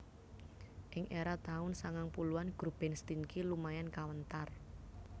Ing era taun sangang puluhan grup band Stinky lumayan kawentar